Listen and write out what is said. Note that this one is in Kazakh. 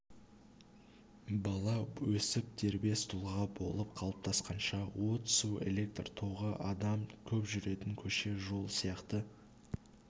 бала өсіп дербес тұлға болып қалыптасқанша от су электр тогы адам көп жүретін көше жол сияқты